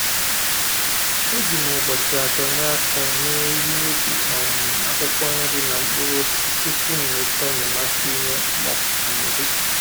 E ji m ụbọchị atọ nye aka wee ihe ubi um akwụkwọ nri na mkpụrụosisi tupu m nweta enyemaka na-inye ụmụ ọkụkọ nri